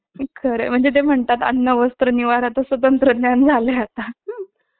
अरबी समुद्रात आहे. प्राचीन काळच्या समुद्री व्यापारात या बेटांचे स्थान महत्वाचे असावे